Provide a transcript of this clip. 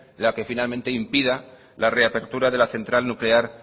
la que finalmente impida la reapertura de la central nuclear